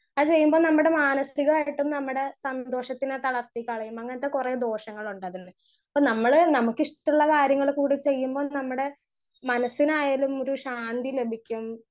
Speaker 1 അത് ചെയ്യുമ്പോ നമ്മുടെ മാനസികായിട്ടും നമ്മുടെ സന്തോഷത്തിന് തളർത്തി കളയും അങ്ങനത്തെ കൊറേ ദോഷങ്ങളുണ്ട് അതിൽ.ഇപ്പൊ നമ്മൾ നമ്മൾക്ക് ഇഷ്ട്ടള്ള കാര്യങ്ങൾ കൂടി ചെയ്യുമ്പോ നമ്മടെ മനസിനായാലും ഒരു ശാന്തി ലഭിക്കും.